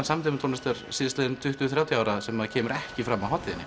samtímatónlist síðustu tuttugu til þrjátíu ára sem kemur ekki fram á hátíðinni